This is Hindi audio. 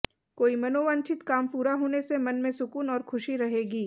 कोई मनोवांछित काम पूरा होने से मन में सुकून और खुशी रहेगी